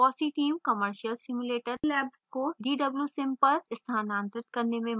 fossee team commercial simulator labs को dwsim पर स्थानांतरित करने में मदद करती है